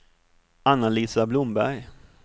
Anna-Lisa Blomberg